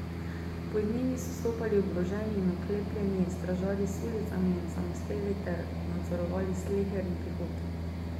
Pod njimi so stopali oboroženi in oklepljeni stražarji s sulicami in samostreli ter nadzorovali sleherni prihod.